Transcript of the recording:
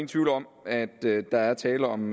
tvivl om at der er tale om